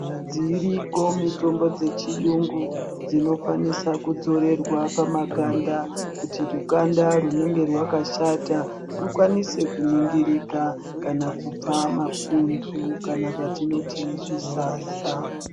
Dziriko mitombo dzechiyungu dzinokwanisa kudzorerwa pamakanda kuti rukanda rwunenge rwakashata rwukwanise kuningirika kana kubva mapundu kana zvatinoti zvisasa.